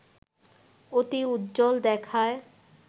অতি উজ্জ্বল দেখায়